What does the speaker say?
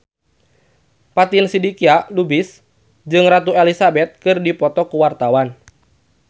Fatin Shidqia Lubis jeung Ratu Elizabeth keur dipoto ku wartawan